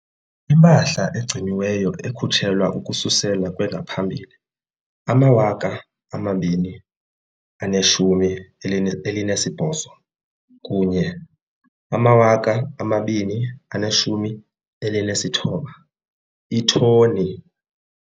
Impahla egciniweyo ekhutshelwa ukususela kwengaphambili 2018 kunye ama-2019, iithoni.